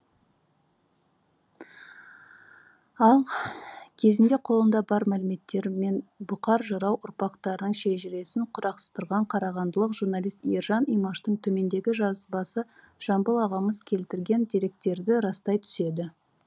ал кезінде қолында бар мәліметтермен бұқар жырау ұрпақтарының шежіресін құрастырған қарағандылық журналист ержан имаштың төмендегі жазбасы жамбыл ағамыз келтірген деректерді растай түседі